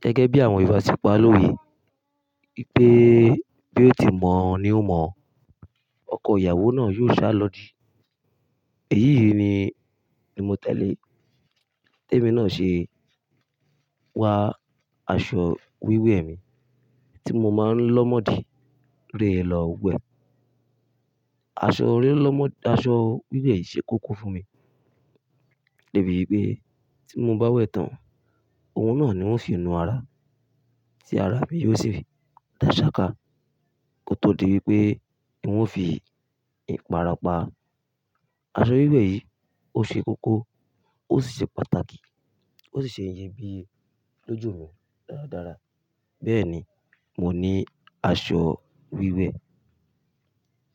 Gẹ́gẹ́ bí àwọn ìbáṣepọ̀ ló wẹ̀ wípé bí ó ti mọ ní ó mọ, ọkọ ìyàwó náà yóò sá lọ́ di. Èyí ni mi mo tẹ̀lé. Bi emi náà ṣe wa aṣọ wíwẹ̀ mi tí mo máa ń lọ́ mọ́ di rè lọ wẹ̀. Aṣọ ri lo mo- Aṣọ wíwẹ̀ yìí ṣe kókó fún mi débi wípé tí mo bá wẹ̀ tán, òun náà ni wón fi nu ara tí ara mi yóò sì dà ṣáká kó tó di wípé wọn ó fi ìpara pa. Aṣọ wíwẹ̀ yìí ó ṣe kókó ó sì ṣe pàtàkì ó sì ṣe iyebíye lójú mi dáradára. Bẹ́ẹ̀ni, mo ní aṣọ wíwẹ̀.